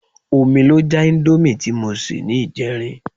Omi ló já íńdómì tí mo sè ní ìjẹrin.